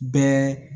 Bɛɛ